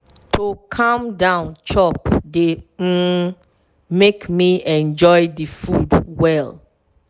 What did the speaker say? to calm down chop dey um make me enjoy the food well.